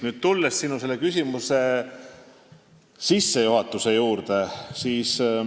Nüüd tulen sinu küsimuse sissejuhatuse juurde.